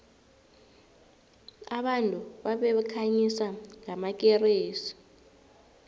abantu babekhanyisa ngamakeresi